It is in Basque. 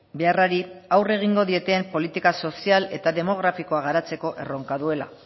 beharrari aurre egingo dioten politika sozial eta demografikoa garatzeko erronka duela